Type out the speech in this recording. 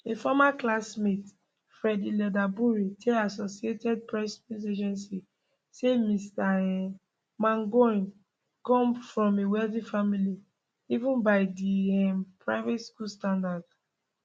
a former classmate freddie leatherbury tell associated press news agency say mr um mangione come from a wealthy family even by di um private school standards